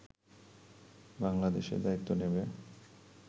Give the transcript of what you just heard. বাংলাদেশে দায়িত্ব নেবে